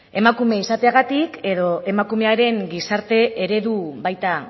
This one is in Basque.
emakume izateagatik edo emakumearen gizarte eredua baita